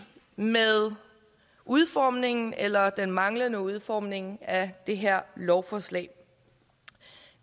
med udformningen eller den manglende udformning af det her lovforslag